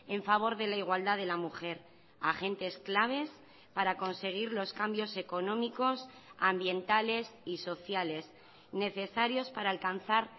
en favor de la igualdad de la mujer agentes claves para conseguir los cambios económicos ambientales y sociales necesarios para alcanzar